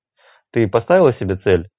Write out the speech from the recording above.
ты поставила себе цель